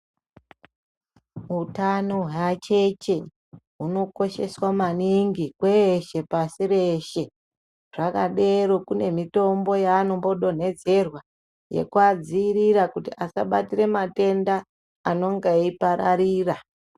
Utano hweacheche hunokosheswa maningi kweshe pashi reshe. Zvakadero kune mitombo yeanombodonhezerwa yekuadziirira kuti asabatire matenda anonga eipararira.